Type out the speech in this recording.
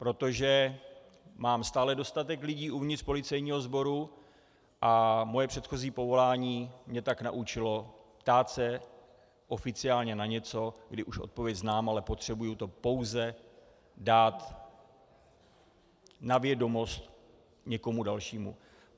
Protože mám stále dostatek lidí uvnitř policejního sboru a moje předchozí povolání mě tak naučilo ptát se oficiálně na něco, kdy už odpověď znám, ale potřebuji to pouze dát na vědomost někomu dalšímu.